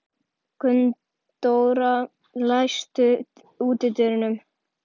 Gunndóra, læstu útidyrunum.